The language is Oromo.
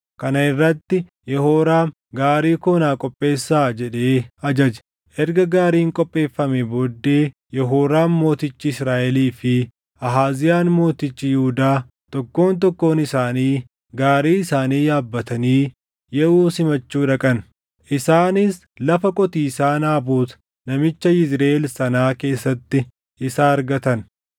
Kana irrati Yehooraam, “Gaarii koo naa qopheessaa” jedhee ajaje. Erga gaariin qopheeffamee booddee Yehooraam mootichi Israaʼelii fi Ahaaziyaan mootichi Yihuudaa, tokkoon tokkoon isaanii gaarii isaanii yaabbatanii Yehuu simachuu dhaqan. Isaanis lafa qotiisaa Naabot namicha Yizriʼeel sanaa keessatti isa argatan.